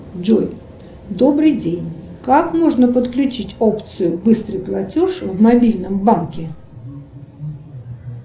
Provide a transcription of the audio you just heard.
джой добрый день как можно подключить опцию быстрый платеж в мобильном банке